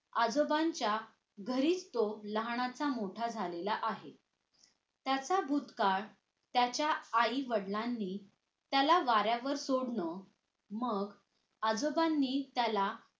आजोबांच्या घरीच तो लहानाचा मोठा झालेला आहे त्याचा भूतकाळ त्याच्या आईवडिलांनी त्याला वाऱ्यावर सोडलं मग आजोबांनी त्याला